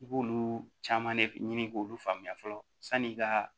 I b'olu caman ne ɲini k'olu faamuya fɔlɔ san'i ka